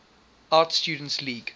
art students league